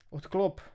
Odklop.